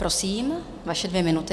Prosím, vaše dvě minuty.